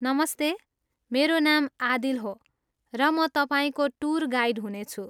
नमस्ते, मेरो नाम आदिल हो, र म तपाईँको टुर गाइड हुनेछु।